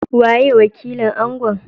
Waye wakilin Angon?